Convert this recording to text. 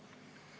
Hea ettekandja!